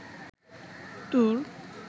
তুর